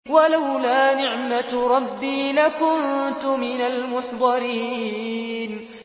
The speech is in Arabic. وَلَوْلَا نِعْمَةُ رَبِّي لَكُنتُ مِنَ الْمُحْضَرِينَ